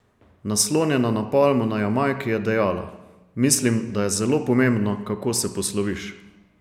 Naslonjena na palmo na Jamajki, je dejala: "Mislim, da je zelo pomembno, kako se posloviš.